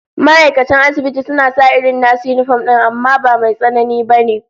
Ma'aikatan asibiti suna sa irin nasu yinifom din amma ba Mai tsanani ba ne